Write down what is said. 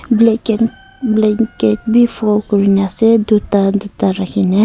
blanket bi fold kurina ase tuita tuita rakina.